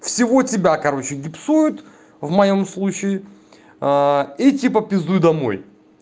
всего тебя короче гипсуют в моём случае и типа пиздуй домой